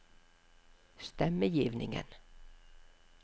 stemmegivningen